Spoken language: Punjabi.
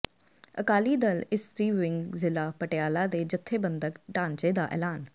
ਅਕਾਲੀ ਦਲ ਇਸਤਰੀ ਵਿੰਗ ਜਿਲ੍ਹਾ ਪਟਿਆਲਾ ਦੇ ਜੱਥੇਬੰਦਕ ਢਾਂਚੇ ਦਾ ਐਲਾਨ